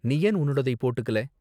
நீ ஏன் உன்னோடதை போட்டுக்கல?